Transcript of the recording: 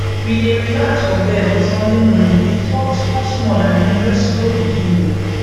we dey relax for bed on sunday morning dey talk small small and enjoy the slow beginning